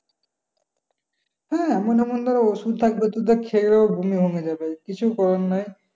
হ্যাঁ এমন ধর ঔষধ থাকবে তোর যা খেয়ে ও বমি বমি লাগবে। কিছু করার নাই।